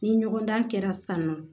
Ni ɲɔgɔndan kɛra san nɔ